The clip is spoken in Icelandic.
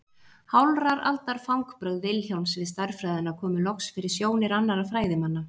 Hálfrar aldar fangbrögð Vilhjálms við stærðfræðina komu loks fyrir sjónir annarra fræðimanna.